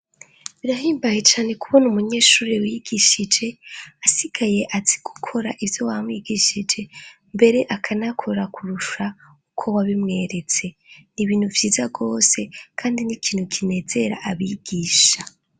Birahimbaye cane kubona umunyeshure wigishije asigaye azi gukora ivyo wamwigishije mbere akanakora kurusha uko wabimweretse n'ibintu vyiza gose kandi n'ikintu kinezera abigisha.